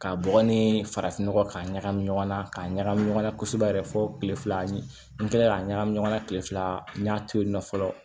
K'a bɔgɔ ni farafin nɔgɔ k'a ɲagami ɲɔgɔn na k'a ɲagami ɲɔgɔn na kosɛbɛ yɛrɛ fo kile fila ni kila ka ɲagami ɲɔgɔn na kile fila n y'a to yen nɔ fɔlɔ